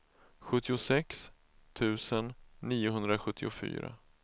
sjuttiosex tusen niohundrasjuttiofyra